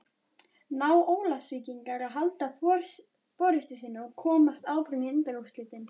Ná Ólafsvíkingar að halda forystunni og komast áfram í undanúrslitin?